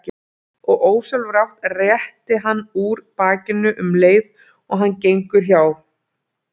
Og ósjálfrátt réttir hann úr bakinu um leið og hann gengur hjá.